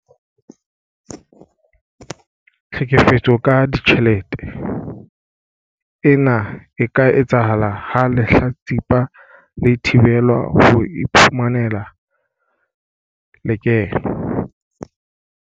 Tlhekefetso ka ditjhelete- Ena e ka etsahala ha lehlatsipa le thibelwa ho iphumanela lekeno.